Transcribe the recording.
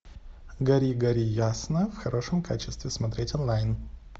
гори гори ясно в хорошем качестве смотреть онлайн